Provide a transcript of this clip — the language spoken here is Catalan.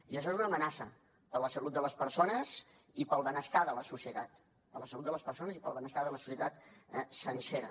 i això és una amenaça per a la salut de les persones i per al benestar de la societat per a la salut de les persones i per al benestar de la societat sencera